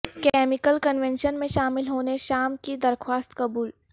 chemical convention میں شامل ہونے شام کی درخواست قبول